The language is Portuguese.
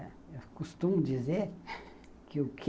Eu costumo dizer que o quê?